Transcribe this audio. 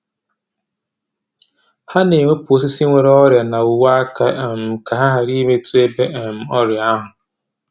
Ha na-ewepụ osisi nwere ọrịa na uwe-aka um ka ha ghara imetụ ebe um ọrịa ahụ.